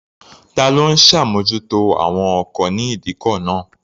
Ta ló ń ṣàmójútó àwọn ọkọ̀ ní ìdíkọ̀ náà?